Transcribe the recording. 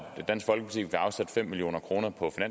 dansk folkeparti vil afsætte fem million kroner på